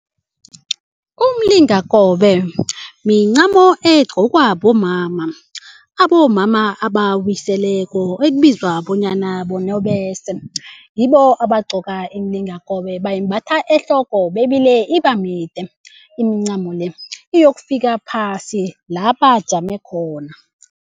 Umlingakobe mincamo egcokwa bomama abomama abawiseleko ekubizwa bonyana benobese yibo abagcoka imilingakobe bayimbatha ehloko bebile ibamide imincamo le iyokufika phasi la bajame khona.